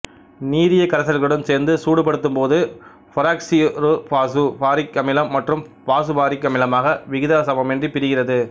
நீரிய கரைசல்களுடன் சேர்த்து சூடுபடுத்தும்போது பெராக்சியொருபாசுபாரிக் அமிலம் மற்றும் பாசுபாரிக் அமிலமாக விகிதச்சமமின்றி பிரிகிறது